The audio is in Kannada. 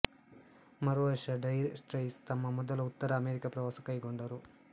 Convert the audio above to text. ಮರುವರ್ಷ ಡೈರ್ ಸ್ಟ್ರೈಟ್ಸ್ ತಮ್ಮ ಮೊದಲ ಉತ್ತರ ಅಮೆರಿಕ ಪ್ರವಾಸ ಕೈಗೊಂಡರು